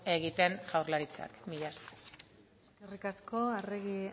egiten jaurlaritzak mila esker eskerrik asko arregi